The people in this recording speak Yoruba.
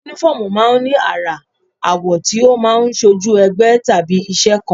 Únífọ́ọ̀mù máa ń ní àrà, àwọ̀ tí ó máa ń ṣojú ẹgbẹ́ tàbí iṣẹ́ kan